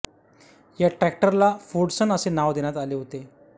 या ट्रॅक्टरला फोर्डसन असे नाव देण्यात आले होते